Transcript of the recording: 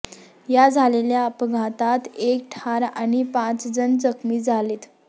या झालेल्या अपघातात एक ठार आणि पाचजण जखमी झालेत